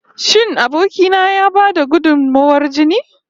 Shin aboki na ya ba da gudunmawar jini?